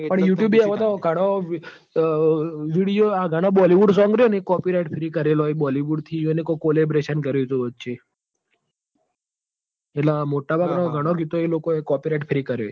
પણ આવતો youtube અવતો ગણો અર video ગણો bollywoodsong રયોન copyright હુડી કરેલો હી bollywood થી કોઈ ઇવીઓને કોક કોલીબ્રેશન કરેલું વચે એટલ મોટા ભાગ નો ગણો ગીતો copyrightfree કરોહી